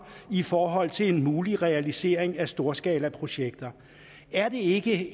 i forhold til en mulig realisering af storskalaprojekter er det ikke